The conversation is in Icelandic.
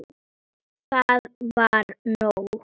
Það var nóg.